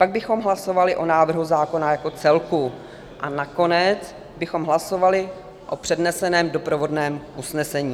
Pak bychom hlasovali o návrhu zákona jako celku a nakonec bychom hlasovali o předneseném doprovodném usnesení.